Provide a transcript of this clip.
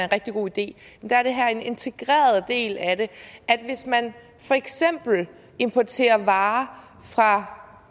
rigtig god idé er det her er en integreret del af det hvis man for eksempel importerer varer fra